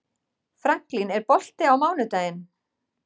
Franklin, er bolti á mánudaginn?